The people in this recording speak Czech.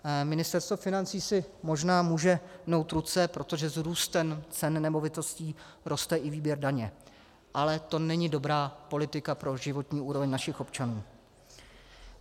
Ministerstvo financí si možná může mnout ruce, protože s růstem cen nemovitostí roste i výběr daně, ale to není dobrá politika pro životní úroveň našich občanů.